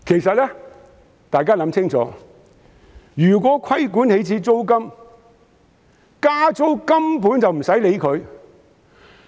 請大家想清楚，如果規管起始租金，加租根本無須理會。